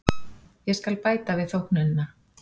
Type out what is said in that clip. Ég skal bæta við þóknunina.